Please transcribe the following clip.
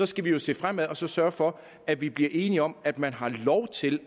skal vi jo se fremad og sørge for at vi bliver enige om at man har lov til